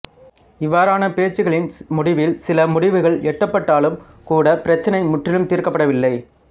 இவ்வாறான பேச்சுகளின் முடிவில் சில முடிவுகள் எட்டப்பட்டாலும் கூட பிரச்சினை முற்றிலும் தீர்க்கப்படவில்லை